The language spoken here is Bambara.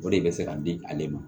O de bɛ se ka di ale ma